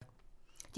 DR P2